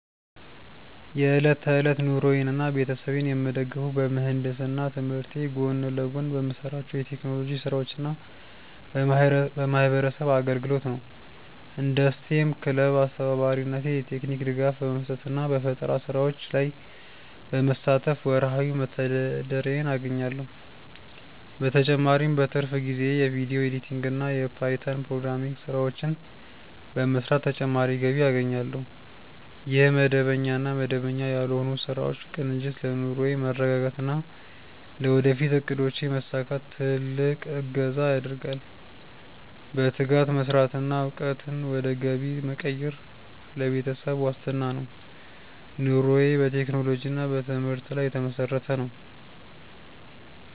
የዕለት ተዕለት ኑሮዬንና ቤተሰቤን የምደግፈው በምህንድስና ትምህርቴ ጎን ለጎን በምሰራቸው የቴክኖሎጂ ስራዎችና በማህበረሰብ አገልግሎት ነው። እንደ ስቴም ክለብ አስተባባሪነቴ የቴክኒክ ድጋፍ በመስጠትና በፈጠራ ስራዎች ላይ በመሳተፍ ወርሃዊ መተዳደሪያዬን አገኛለሁ። በተጨማሪም በትርፍ ጊዜዬ የቪዲዮ ኤዲቲንግና የፓይተን ፕሮግራሚንግ ስራዎችን በመስራት ተጨማሪ ገቢ አገኛለሁ። ይህ መደበኛና መደበኛ ያልሆኑ ስራዎች ቅንጅት ለኑሮዬ መረጋጋትና ለወደፊት እቅዶቼ መሳካት ትልቅ እገዛ ያደርጋል። በትጋት መስራትና እውቀትን ወደ ገቢ መቀየር ለቤተሰብ ዋስትና ነው። ኑሮዬ በቴክኖሎጂና በትምህርት ላይ የተመሰረተ ነው።